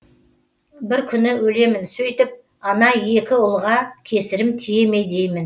бір күні өлемін сөйтіп ана екі ұлға кесірім тие ме деймін